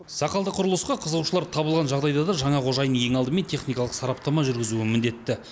сақалды құрылысқа қызығушылар табылған жағдайда да жаңа қожайын ең алдымен техникалық сараптама жүргізуі міндетті